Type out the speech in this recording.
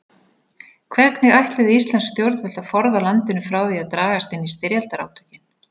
Hvernig ætluðu íslensk stjórnvöld að forða landinu frá því að dragast inn í styrjaldarátökin?